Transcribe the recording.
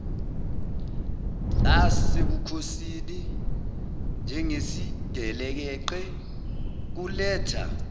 lasebukhosini njengesigelekeqe kuletha